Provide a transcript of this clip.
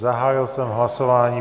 Zahájil jsem hlasování.